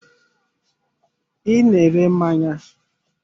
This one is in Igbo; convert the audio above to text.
I na-ere mmanya.